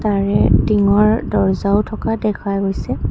তাৰে টিংৰ দৰ্জাও থকা দেখা গৈছে।